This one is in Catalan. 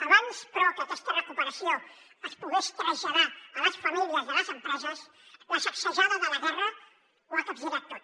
abans però que aquesta recuperació es pogués traslladar a les famílies i a les empreses la sacsejada de la guerra ho ha capgirat tot